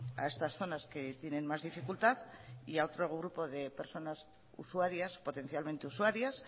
a estas zonas que tienen más dificultad y a otro grupo de personas usuarias potencialmente usuarias